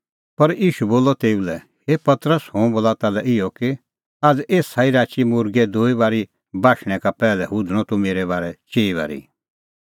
पर ईशू बोलअ तेऊ लै हे पतरस हुंह बोला ताल्है इहअ कि आझ़ एसा ई राची मुर्गै दूई बारी बाशणैं का पैहलै हुधणअ तूह मेरै बारै चिई बारी